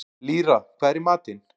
Lýra, hvað er í matinn?